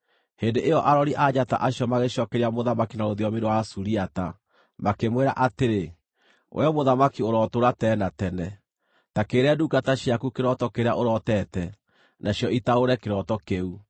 Hĩndĩ ĩyo arori a njata acio magĩcookeria mũthamaki na rũthiomi rwa Asuriata, makĩmwĩra atĩrĩ, “Wee mũthamaki, ũrotũũra tene na tene! Ta kĩĩre ndungata ciaku kĩroto kĩrĩa ũrotete, nacio itaũre kĩroto kĩu.”